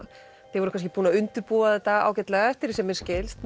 þið voruð kannski búin að undirbúa þetta ágætlega eftir því sem mér skilst